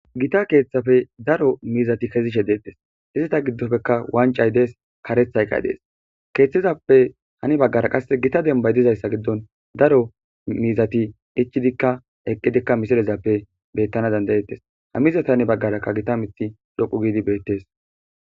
gita keeththafe daro miizati kezishe deettes izita giddofeka wancay dees kareth hayqay dees keeththizappe hani baggara qasse gita dembay dizayssa giddon daro miizati ichidikka eqqidikka misilezappe bettana dandayettes hamiza tani baggarakka gita mithi loqu giidi beettees